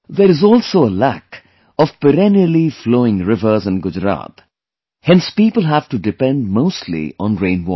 There is also a lack of perennially flowing rivers in Gujarat, hence people have to depend mostly on rain water